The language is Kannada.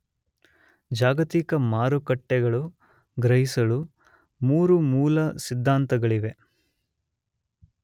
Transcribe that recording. ಜಾಗತಿಕ ಮಾರುಕಟ್ಟೆಗಳು ಗ್ರಹಿಸಲು ಮೂರು ಮೂಲ ಸಿದ್ಧಾಂತಗಳಿವೆ.